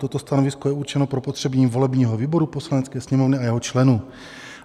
Toto stanovisko je určeno pro potřeby volebního výboru Poslanecké sněmovny a jeho členů."